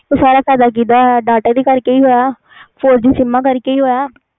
ਸਾਰਾ ਫਾਇਦਾ ਕੀਦਾ ਹੋਇਆ four G sim ਕਰਕੇ ਹੋਇਆ